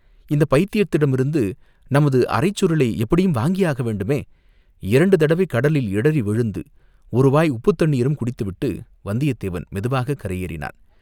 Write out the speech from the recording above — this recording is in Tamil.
இந்தப் பைத்தியத்தினிடமிருந்து நமது அரைச்சுருளை எப்படியும் வாங்கியாக வேண்டுமே, இரண்டு தடவை கடலில் இடறி விழுந்து ஒருவாய் உப்புத் தண்ணீரும் குடித்துவிட்டு வந்தியத்தேவன் மெதுவாக கரையேறினான்.